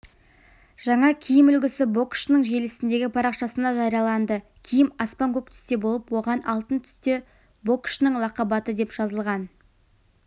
жаңа киім үлгісі боксшының желісіндегі парақшасында жарияланды киім аспан көк түсте болып оған алтын түсте боксшының лақап аты деп жазылған